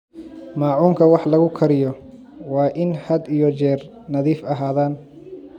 Maacuunka wax lagu kariyo waa in had iyo jeer nadiif ahaadaan.